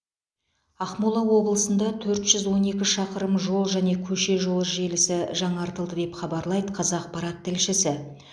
ақмола облысында төрт жүз он екі шақырым жол және көше жолы желісі жаңғыртылды деп хабарлайды қазақпарат тілшісі